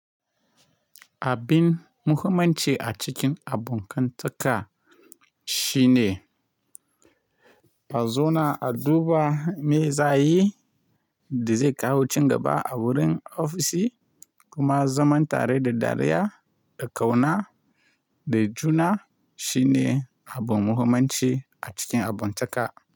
Abin muhimmanci a cikin abokantaka shine, ka zauna a duba meye za yi da zai kawo cigaba a wurin ofishi, kuma zaman tare da dariya da ƙauna da juna shine abu muhimmanci a cikin abokantaka.